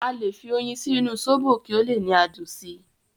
Aale fi oyin sí inú sóbò kí o le ni adùn si